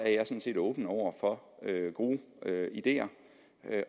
set åben over for gode ideer